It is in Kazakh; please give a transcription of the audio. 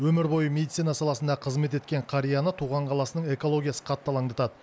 өмір бойы медицина саласында қызмет еткен қарияны туған қаласының экологиясы қатты алаңдатады